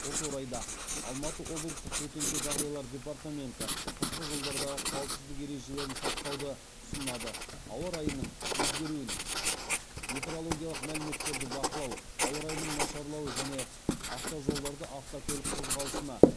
осы орайда алматы облыстық төтенше жағдайлар департаменті қысқы жолдардағы қауіпсіздік ережелерін сақтауды ұсынады ауа райының өзгеруін метеорологиялық мәліметтерді бақылау ауа райының нашарлауы және автожолдарда автокөлік қозғалысына